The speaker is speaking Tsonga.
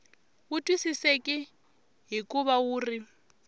wu twisiseki hikuva wu ri